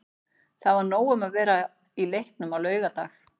Það var nóg um að vera í leiknum á laugardag.